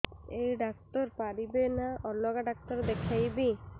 ଏଇ ଡ଼ାକ୍ତର ପାରିବେ ନା ଅଲଗା ଡ଼ାକ୍ତର ଦେଖେଇବି